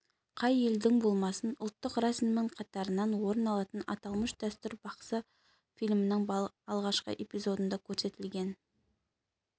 қай елдің болмасын ұлттық рәсімінің қатарынан орын алатын аталмыш дәстүр бақсы фильмінің алғашқы эпизодында көрсетілген